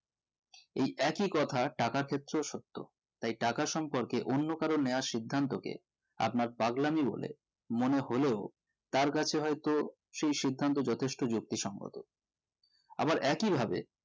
এই একই কথা টাকার ক্ষেত্রেও সত্য তাই টাকা সম্পর্কে অন্য কারো নিওয়া সিধান্তোকে আপনার পাগলামি বলে মনে হলেও তার কাছে হয়তো সেই সিদ্ধান্ত যথেষ্ট যুক্তি সঙ্গত আবার একই ভাবে